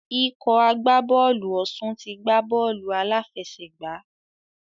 Ikọ̀ agbábọ̀ọ̀lù Ọ̀ṣun ti gbá bọ́ọ̀lù aláfẹ̀sẹgbà.